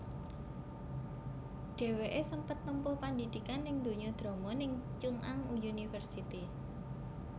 Dhèwèké sempet nempuh pandidikan ning donya drama ning Chung Ang University